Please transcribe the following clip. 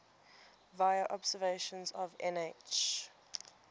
vla observations of nh